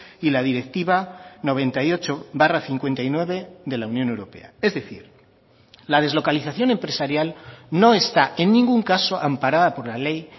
y la directiva noventa y ocho barra cincuenta y nueve de la unión europea es decir la deslocalización empresarial no está en ningún caso amparada por la ley